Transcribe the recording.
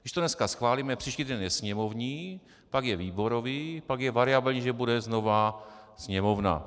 Když to dneska schválíme, příští týden je sněmovní, pak je výborový, pak je variabilní, že bude znova sněmovna.